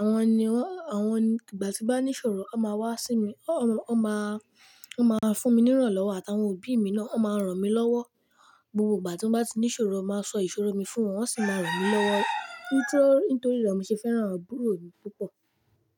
àwọn ni wọ́n, àwọn ní ìgbà tí bá ní ìṣòro a máa wá sí mi, ọ́à wọ́n máa, wọ́n máa fún mi ní ìrànlọ́wọ́ àtàwọn òbí mi náà ó maa ràn mí lọ́wọ́. Gbogbo ìgbà tí wọ́n bá tí ní ìṣòro máa sọ ìṣòro mi fún wọn wọ́n sì máa ràn mí lọ́wọ́. Nítórí rẹ mo ṣe fẹ́ràn àbúrò mi púpọ̀.